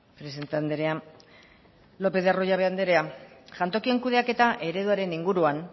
presidente andrea lopez de arroyabe andrea jantokien kudeaketa ereduaren inguruan